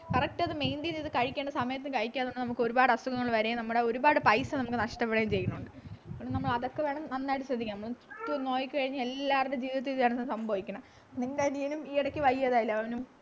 correct അത് maintain ചെയ്ത് കഴിക്കേണ്ട സമയത്ത് കഴിക്കാതിരുന്നാൽ നമുക്ക് ഒരുപാട് അസുഖങ്ങൾ വരുകയും നമ്മുടെ ഒരുപാട് പൈസ നമുക്ക് നഷ്ടപ്പെടുകയും ചെയ്യുന്നുണ്ട് അതുകൊണ്ട് നമ്മൾ അതൊക്കെ വേണം നന്നായിട്ട് ശ്രദ്ധിക്കാം നമ്മള് നോക്കി കഴിഞ്ഞാൽ എല്ലാവരുടെ ജീവിതത്തിലും ഇതൊക്കെ സംഭവിക്കുന്നത് നിൻ്റെ അനിയനും ഈ ഇടയ്ക്ക് വലിയ വയ്യാതായില്ലേ അവനും